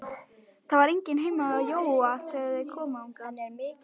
Það var enginn heima hjá Jóa þegar þeir komu þangað.